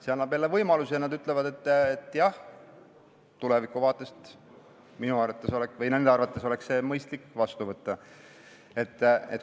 See annab jälle võimaluse ja nad ütlevad, et jah, tulevikuvaatest oleks nende arvates mõistlik see seadus vastu võtta.